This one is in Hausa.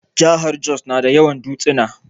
Jahar Jos na da yawan dutsuna